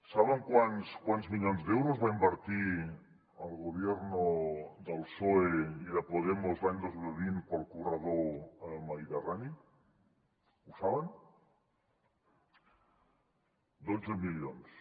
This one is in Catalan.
saben quants milions d’euros va invertir el gobierno del psoe i de podemos l’any dos mil vint per al corredor mediterrani ho saben dotze milions